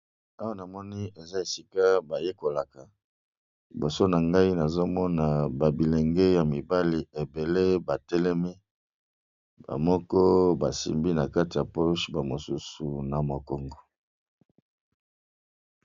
Awa namoni eza esika bayekolaka namoni eza bilenge ya mibali ebele batelemi bamoko basimbi nakatiya poshe bamisusu basimbi na mokongo